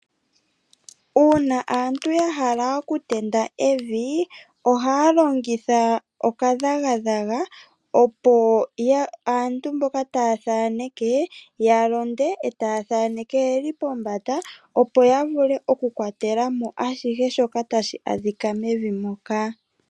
Uuna aantu ya hala oku tenda evi, ohaya longitha okadhagadhaga, opo aantu mboka taya thaaneke ya londe, etaya thaaneke yeli pombanda, opo ya vule oku kwatela mo ashihe shoka tashi adhika mevi moka.